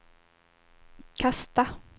kasta